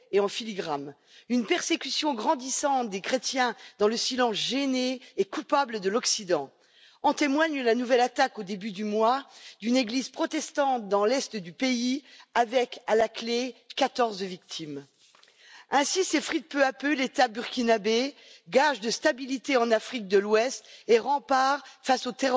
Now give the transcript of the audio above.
Et en filigrane, une persécution grandissante des chrétiens dans le silence gêné et coupable de l'Occident en témoigne la nouvelle attaque au début du mois d'une église protestante, dans l'est du pays, avec à la clé quatorze victimes. Ainsi s'effrite peu à peu l'État burkinabé, gage de stabilité en Afrique de l'Ouest et rempart face au